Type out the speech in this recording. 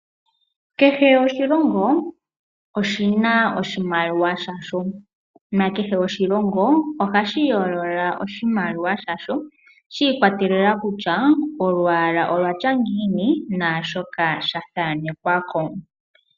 Kehe oshilongo oshina oshimaliwa shasho nakehe oshilongo ohashi yoolola oshimaliwa shasho shi ikwatelela kutya olwaala olwatya ngiini naashoka sha thanekwako.